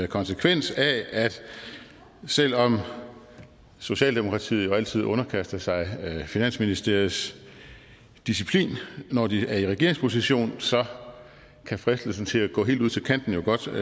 konsekvens af at selv om socialdemokratiet altid underkaster sig finansministeriets disciplin når de er i regeringsposition kan fristelsen til at gå helt ud til kanten jo godt